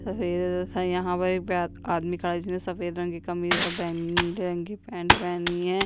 सफ़ेद यहाँ पर एक आदमी खड़ा है जिसने सफ़ेद रंग की कमीज़ और बैगनी रंग की पेंट पहनी है।